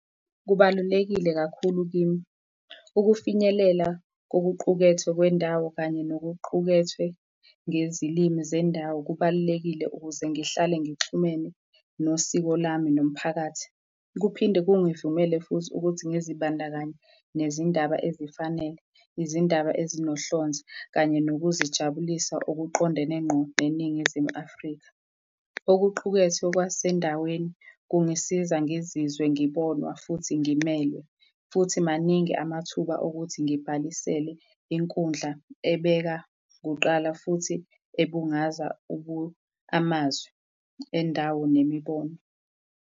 Kubalulekile kakhulu kimi. Ukufinyelela kokuqukethwe kwendawo kanye nokuqukethwe ngezilimi zendawo kubalulekile ukuze ngihlale ngixhumene nosiko lami nomphakathi. Kuphinde kungivumela futhi ukuthi, ngizibandakanye nezindaba ezifanele, izindaba ezinohlonze kanye nokuzijabulisa okuqondene ngqo neNingizimu Afrika. Okuqukethwe kwasendaweni kungisiza ngizizwe ngibonwa futhi ngimelwe futhi maningi amathuba okuthi ngibhalisele inkundla ebeka kuqala, futhi ebungaza amazwi endawo nemibono.